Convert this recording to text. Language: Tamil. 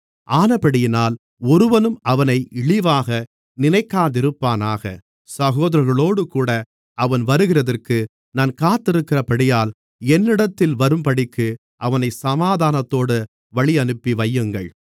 ஆனபடியினால் ஒருவனும் அவனை இழிவாக நினைக்காதிருப்பானாக சகோதரர்களோடுகூட அவன் வருகிறதற்கு நான் காத்திருக்கிறபடியால் என்னிடத்தில் வரும்படிக்கு அவனைச் சமாதானத்தோடு வழியனுப்பிவையுங்கள்